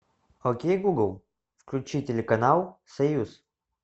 окей гугл включи телеканал союз